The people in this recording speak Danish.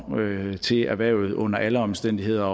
til erhvervet under alle omstændigheder